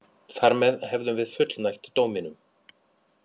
Þar með hefðum við fullnægt dóminum